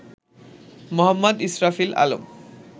Md. Israfil Alam